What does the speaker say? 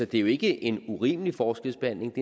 det er jo ikke en urimelig forskelsbehandling